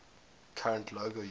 current logo using